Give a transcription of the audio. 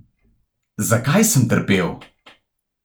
Zakaj sem trpel?